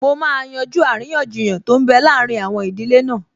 Mo máa yanjú àríyànjiyàn tó n bẹ láàrin àwọn ìdílé náà